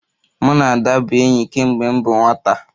Mụ na Ada bụ enyi kemgbe m bụ nwata